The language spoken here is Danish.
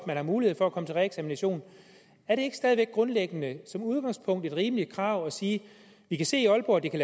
man har mulighed for at komme til reeksamination er det ikke stadig væk grundlæggende som udgangspunkt et rimeligt krav at sige vi kan se i aalborg at det kan